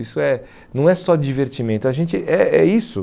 Isso é não é só divertimento, a gente é é isso.